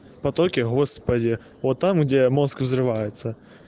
в потоке господи вот там где мозг взрывается